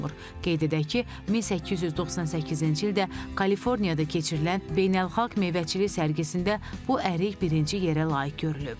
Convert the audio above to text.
Qeyd edək ki, 1898-ci ildə Kaliforniyada keçirilən beynəlxalq meyvəçilik sərgisində bu ərik birinci yerə layiq görülüb.